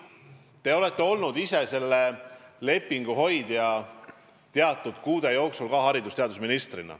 Te olete olnud ise selle lepingu hoidja teatud kuude jooksul, kui olite haridus- ja teadusminister.